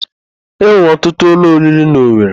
E nwere ọtụtụ ụlọ oriri n'Owere.